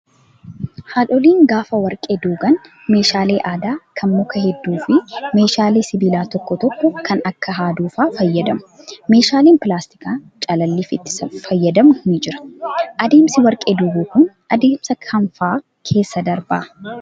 Haadholiin gaafa warqee duugan meeshaalee aadaa kan mukaa hedduu fi meeshaalee sibiilaa tokko tokko kan akka haaduu fa'aa fayyadamu. Meeshaaleen pilaastikaa calalliif itti fayyadamnu ni jira. Adeemsi warqee duuguu kun adeemsa kam fa'aa keessa darbaa?